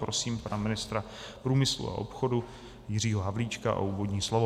Prosím pana ministra průmyslu a obchodu Jiřího Havlíčka o úvodní slovo.